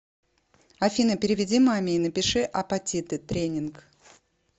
афина переведи маме и напиши апатиты тренинг